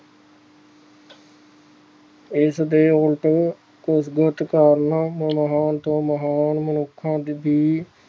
ਇਸਦੇ ਉਲਟ ਕੁਝ ਬਹੁਤ ਕਾਰਨ ਮਹਾਨ ਤੋਂ ਮਹਾਨ ਮਨੁਖਾਂ ਦੀ